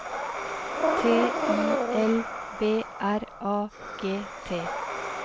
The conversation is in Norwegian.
T I L B R A G T